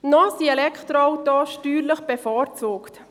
Noch sind Elektroautos steuerlich bevorzugt.